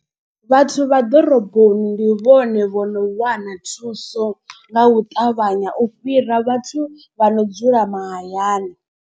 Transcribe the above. Vhathu vha ḓoroboni ndi vhone vho no wana thuso nga u ṱavhanya u fhira vhathu vha no dzula mahayani.